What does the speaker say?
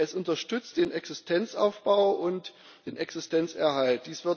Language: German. Es unterstützt den Existenzaufbau und den Existenzerhalt.